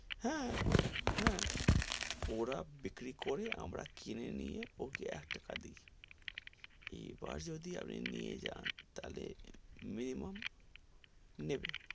হাঁ, হাঁ, , ওরা বিক্রি করে আমরা কিনে নিয়ে ওকে এক টাকা দি, এইবার যদি আপনি নিয়ে যান তাহলে minimum নেবে,